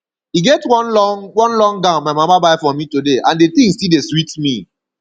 e get one long one long gown my mama buy for me today and the thing still dey sweet me